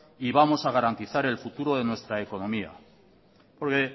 y vamos a garantizar el futuro de nuestra economía porque